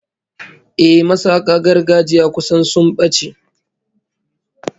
Ehh, masaka gargajiya kusan sun bace